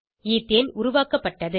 ethane உருவாக்கப்பட்டது